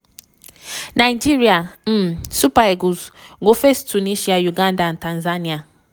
nigeria um super eagles go face tunisia uganda and tanzania.